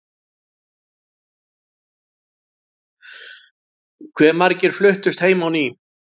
Hve margir fluttust heim á ný?